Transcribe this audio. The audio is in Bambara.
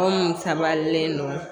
Anw sabalilen don